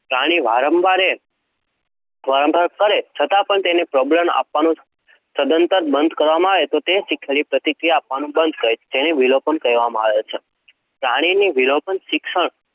પ્રાણી વારંવાર કરે છતાં પણ તેને પ્રબલન આપવાનું સદંતર બંધ કરવામાં આવે તો તે શીખેલી પ્રતિક્રિયા આપવાનું બંધ કરે છે, જેને વિલોપન કહેવાય છે. પ્રાણીને વિલોપનનું શિક્ષણ